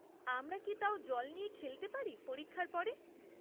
আমরা কি তাও জল নিয়ে খেলতে পারি পরীক্ষার পরে?